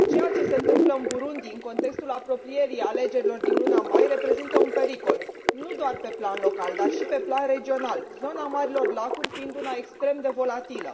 Ceea ce e întâmplă în Burundi în contextul apropierii alegerilor din luna mai reprezintă un pericol nu doar pe plan local, dar și pe plan regional, zona Marilor Lacuri fiind una extrem de volatilă.